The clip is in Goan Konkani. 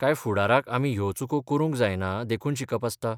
काय फुडाराक आमी ह्यो चुको करूंक जायना देखून शिकप आसता?